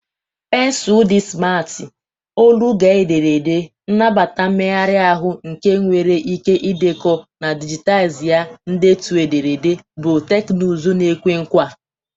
Pensụl di simarti, olu-gaa-ederede, nnabata mmegharị ahụ nke nwere ike ịdekọ na dijitaizi ndetu ederede bụ teknụzụ na-ekwe nkwa.